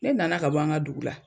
Ne nana ka bɔ an ka dugu la